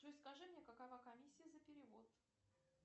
джой скажи мне какова комиссия за перевод